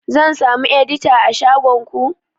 Zan samu edita a shagon ku?